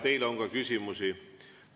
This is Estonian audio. Teile on ka küsimusi.